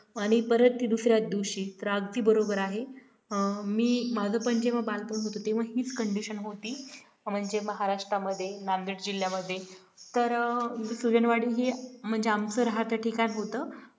आणि परत ती दुसऱ्या दिवशी तर अगदी बरोबर आहे मी माझं पण जेव्हा बालपण होते तेव्हा हीच condition होती म्हणजे महाराष्ट्रामध्ये नांदेड जिल्ह्यामध्ये तर सुजनवाडी ही म्हणजे आमचं राहत ठिकाण होतं